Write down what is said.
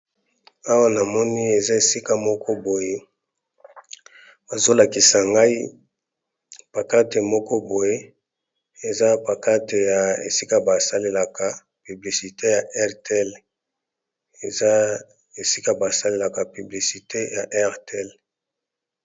Awa na moni eza esika moko boye bazolakisa ngai pakate moko boye eza pakate ya esika basalelaka publisite ya airtel eza esika basalelaka piblisite ya airtel.